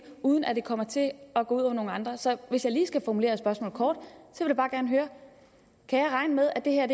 uden at det kommer til at gå ud over nogle andre så hvis jeg skal formulere spørgsmålet kort kan jeg regne med at det her